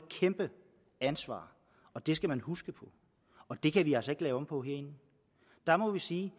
kæmpe ansvar det skal man huske og det kan vi altså ikke lave om på herinde der må vi sige